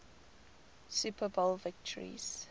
super bowl victories